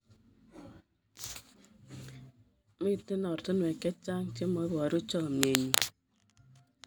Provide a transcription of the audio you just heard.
Mito ortinwek che chang' che muaboru chamyenyu